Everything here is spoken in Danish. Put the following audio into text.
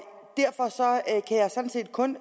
sådan set kun